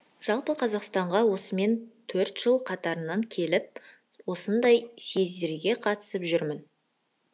жалпы қазақстанға осымен төрт жыл қатарынан келіп осындай съездерге қатысып жүрмін